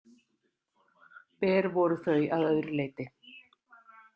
Ber voru þau að öðru leyti.